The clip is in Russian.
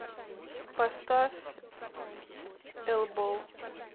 поставь элбоу